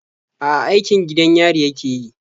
A'a, aikin gidan yari yake yi.